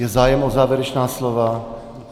Je zájem o závěrečné slovo?